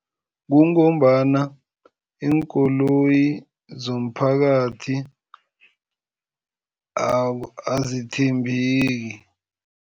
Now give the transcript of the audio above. Kungombana iinkoloyi zomphakathi azithembeki.